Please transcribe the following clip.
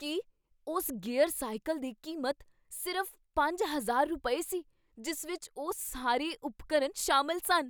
ਕੀ, ਉਸ gear cycle ਦੀ ਕੀਮਤ ਸਿਰਫ਼ ਪੰਜ ਹਜ਼ਾਰ ਰੁਪਏ, ਸੀ ਜਿਸ ਵਿਚ ਉਹ ਸਾਰੇ ਉਪਕਰਨ ਸ਼ਾਮਲ ਸਨ?